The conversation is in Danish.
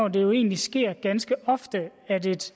at det jo egentlig sker ganske ofte at et